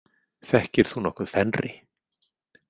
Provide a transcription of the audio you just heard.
Þekkir þú nokkuð Fenri?